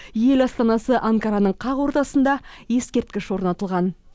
ел астанасы анкараның қақ ортасында ескерткіш орнатылған